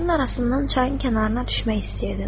Daşların arasından çayın kənarına düşmək istəyirdim.